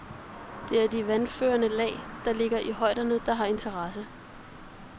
Det er de vandførende lag, der ligger i højderne, der har interesse.